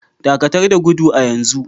Dakatar da gudu a yanzu!